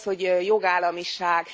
Mi is az, hogy jogállamiság?